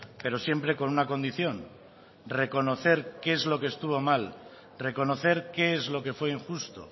pero siempre con una condición reconocer qué es lo que estuvo mal reconocer qué es lo que fue injusto